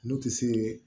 N'u ti se